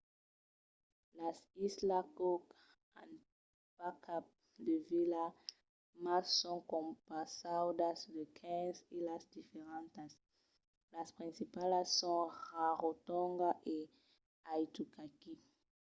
las islas cook an pas cap de vila mas son compausadas de 15 islas diferentas. las principalas son rarotonga e aitutaki